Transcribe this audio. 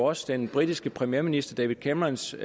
også den britiske premierminister david camerons